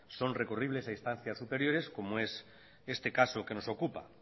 son recurribles a instancias superiores como es este caso que nos ocupa